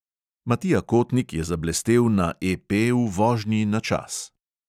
Matija kotnik zablestel na EP v vožnji na čas.